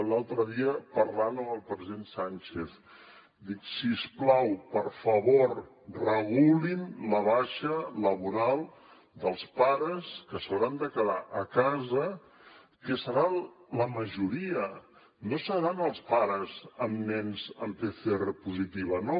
l’altre dia parlant amb el president sánchez dic si us plau per favor regulin la baixa laboral dels pares que s’hauran de quedar a casa que seran la majoria no seran els pares amb nens amb pcr positiva no